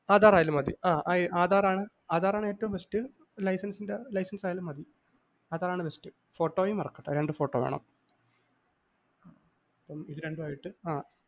അധാറായാലും മതി ആഹ് ആധാറാണ്‌ ആധാറാണ്‌ ഏറ്റവും bestlicense ൻ്റെ license ആയാലും മതി. അതാണ്‌ best ഫോട്ടോയും മറക്കണ്ട രണ്ട് ഫോട്ടോ വേണം. ആഹ് ഇത് രണ്ടുമായിട്ട്